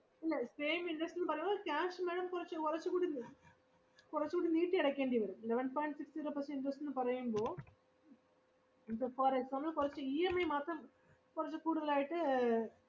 ഇല്ല same interest എന്ന് പറയുമ്പോൾ cash madam കുറച്ചു കൊറച്ചു കൂടി നീ~ കൊറച്ചു കൂടി നീട്ടി അടക്കേണ്ടി വരും eleven point six zero percent interest ന്ന് പറയുമ്പോൾ, ഇപ്പൊ for example കൊറച്ചു EMI മാത്രം കൊറച്ചു കൂടുതൽ ആയിട്ട് ഏർ